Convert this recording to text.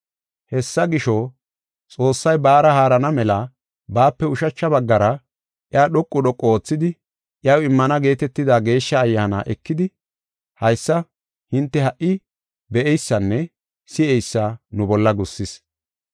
Hessa gisho, Xoossay baara haarana mela baape ushacha baggara iya dhoqu dhoqu oothidi, iyaw immana geetetida Geeshsha Ayyaana ekidi, haysa hinte ha77i be7eysanne si7eysa nu bolla gussis.